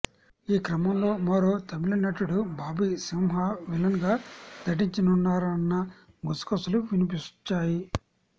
ఈ క్రమంలో మరో తమిళనటుడు బాబీ సింహ విలన్ గా నటించనున్నారన్న గుసగుసలు వినిపించాయి